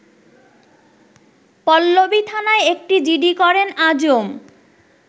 পল্লবীথানায় একটি জিডি করেন আজম